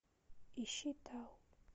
ищи тау